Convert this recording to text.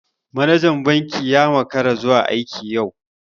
Manajan banki ya makara zuwa aiki yau.